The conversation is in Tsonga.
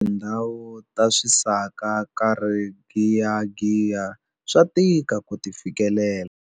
Tindhawu ta swisaka ehenhla ka rigiyagiya swa tika ku ti fikelela.